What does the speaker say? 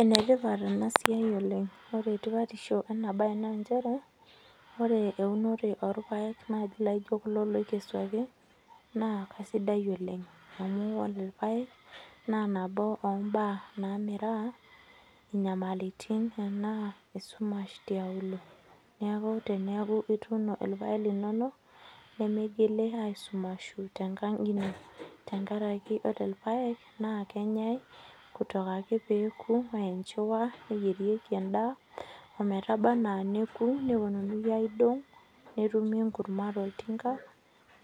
Enetipat ena siai oleng ore tipatisho ena baye naa nchere ore eunore orpayek naaji laijio kulo loikesuaki naa kasidai oleng amu ore ilapayek naa nabo ombaa namiraa inyamalitin enaa esumash tiaulo neeku teniaku ituuno ilpayek linono nemeigili aisumashu tenkang ino tenkaraki ore ilpayek naa kenyae kutoka ake peeku enchiwa neyierieki endaa ometaba anaa neku neponunui aidong netumi enkurma tolchamba